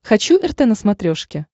хочу рт на смотрешке